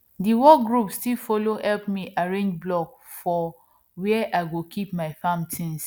the work group still follow help me arrange block for where i go keep my farm things